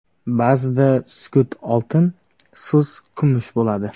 Ba’zida sukut ― oltin, so‘z ― kumush bo‘ladi.